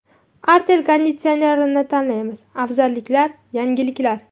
Artel konditsionerini tanlaymiz: afzalliklar, yangiliklar.